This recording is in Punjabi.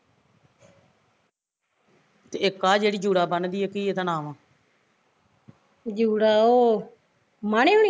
ਤੇ ਇੱਕ ਆਹ ਜਿਹੜੀ ਜੂੜਾ ਬੰਨਦੀ ਆ ਕੀ ਇਹਦਾ ਨਾਮ